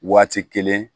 Waati kelen